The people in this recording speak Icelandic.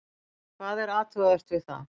Hvað er athugavert við það?